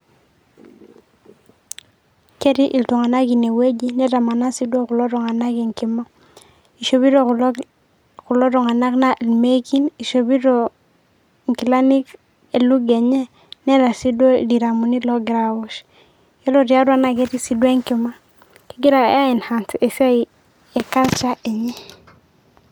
Ketii iltung'anak inewueji. Netamana si duo kulo tung'anak enkima. Shopito kulo tung'anak na ilmekin shopito inkilani e lugha enye, neeta si duo ildiramuni logira awosh. Ore tiatu, na ketii si duo enkima.